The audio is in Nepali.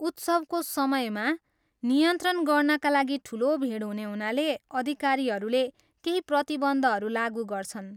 उत्सवको समयमा, नियन्त्रण गर्नाका लागि ठुलो भिड हुने हुनाले, अधिकारीहरूले केही प्रतिबन्धहरू लागु गर्छन्।